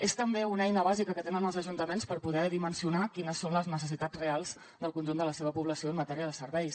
és també una eina bàsica que tenen els ajuntaments per poder dimensionar quines són les necessitats reals del conjunt de la seva població en matèria de serveis